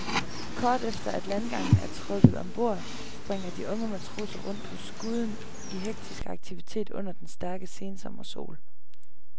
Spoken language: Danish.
Kort efter at landgangen er trukket om bord, springer de unge matroser rundt på skuden i hektisk aktivitet under den stærke sensommersol.